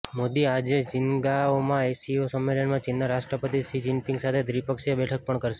મોદી આજે ચીંગદાઓમાં એસસીઓ સંમેલનમાં ચીનના રાષ્ટ્રપતિ શી જીનપીંગ સાથે દ્વિપક્ષીય બેઠક પણ કરશે